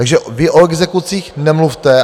Takže vy o exekucích nemluvte.